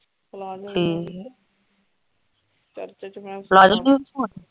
Palazzo ਠੀਕ ਆ church ਚ ਮੈਂ ਪਲਾਜ਼ੋ ਸੂਟ ਪਾਉਣਾ।